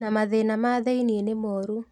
Na mathĩna ma thĩiniĩ nĩ moru